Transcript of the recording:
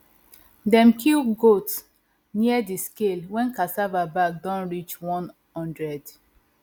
dem kill goat near the scale when cassava bag don reach one hundred